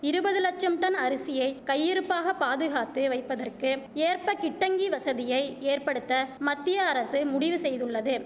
இருபது லட்சம் டன் அரிசியை கையிருப்பாக பாதுகாத்து வைப்பதற்கு ஏற்ப கிட்டங்கி வசதியை ஏற்படுத்த மத்திய அரசு முடிவு செய்துள்ளது